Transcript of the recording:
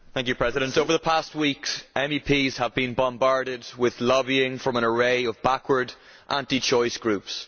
Mr President, over the past weeks MEPs have been bombarded with lobbying from an array of backward, anti choice groups.